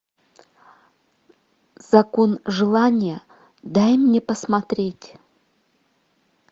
закон желания дай мне посмотреть